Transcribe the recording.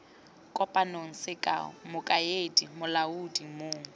kopang sekao mokaedi molaodi mong